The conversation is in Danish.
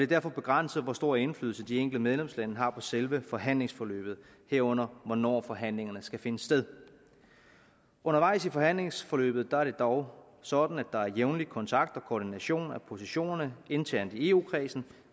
derfor begrænset hvor stor indflydelse de enkelte medlemslande har på selve forhandlingsforløbet herunder hvornår forhandlingerne skal finde sted undervejs i forhandlingsforløbet er det dog sådan at der er jævnlig kontakt og koordination af positionerne internt i eu kredsen